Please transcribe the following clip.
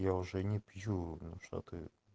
я уже не пью ну что ты